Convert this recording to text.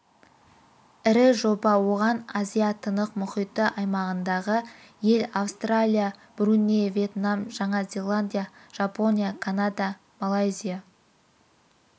ірі жоба оған азия-тынық мұхиты аймағындағы ел австралия бруней вьетнам жаңа зеландия жапония канада малайзия